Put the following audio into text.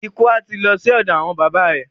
Ikú à ti lo sí òdò àwon baba re.